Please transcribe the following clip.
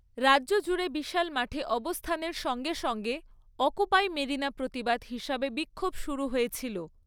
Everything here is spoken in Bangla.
রাজ্য জুড়ে বিশাল মাঠে অবস্থানের সঙ্গে সঙ্গে অকুপাই মেরিনা প্রতিবাদ হিসাবে বিক্ষোভ শুরু হয়েছিল।